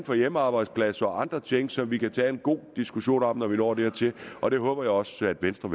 for hjemmearbejdspladser og andre ting som vi kan tage en god diskussion om når vi når dertil og det håber jeg også at venstre